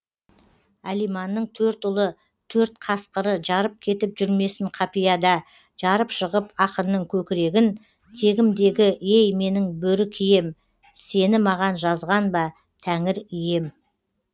әлиманның төрт ұлы төрт қасқыры жарып кетіп жүрмесін қапияда жарып шығып ақынның көкірегін тегімдегі ей менің бөрі кием сені маған жазған ба тәңір ием